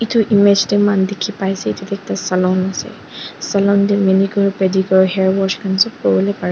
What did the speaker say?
edu image tae mahan dikhipaiase edu tu ekta salon ase salon tae manicure padicure hair wash khan sop